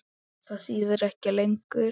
Það þýðir ekki lengur.